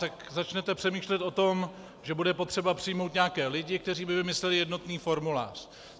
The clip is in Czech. Tak začnete přemýšlet o tom, že bude potřeba přijmout nějaké lidi, kteří by vymysleli jednotný formulář.